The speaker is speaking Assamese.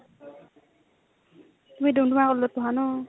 তুমি ডুমডুমা হ্ত পঢ়া ন ?